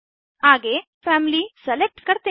आगे family select करते हैं